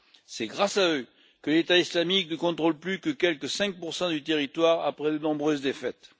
C'est grâce à eux que l'État islamique ne contrôle plus que quelque 5 du territoire après de nombreuses défaites.